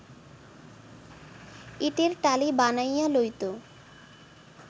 ইটের টালি বানাইয়া লইত